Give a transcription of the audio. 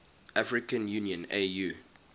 african union au